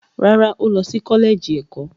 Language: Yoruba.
Rárá, ó lọ sí kọ́lẹ́ẹ̀jì ẹ̀kọ́.